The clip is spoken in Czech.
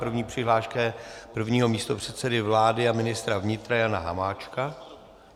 První přihláška je prvního místopředsedy vlády a ministra vnitra Jana Hamáčka.